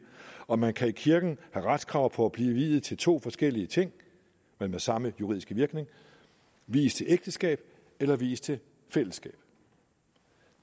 og man kan i kirken have retskrav på at blive viet til to forskellige ting men med samme juridiske virkning vies til ægteskab eller vies til fællesskab